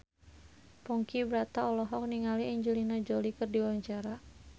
Ponky Brata olohok ningali Angelina Jolie keur diwawancara